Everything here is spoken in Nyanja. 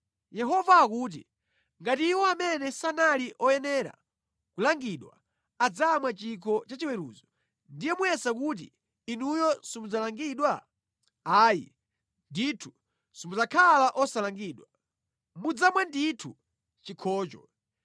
Yehova akuti, “Ngati iwo amene sanali oyenera kulangidwa adzamwa chikho cha chiweruzo, ndiye muyesa kuti inuyo simudzalangidwa? Ayi ndithu simudzakhala osalangidwa. Mudzamwa ndithu chikhocho.